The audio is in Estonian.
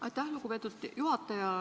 Aitäh, lugupeetud juhaja!